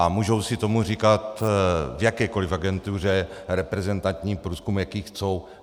A můžou si tomu říkat v jakékoliv agentuře reprezentační průzkum, jaký chtějí.